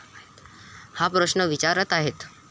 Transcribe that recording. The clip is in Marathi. हा प्रश्न विचारत आहेत.